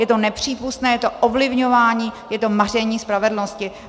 Je to nepřípustné, je to ovlivňování, je to maření spravedlnosti.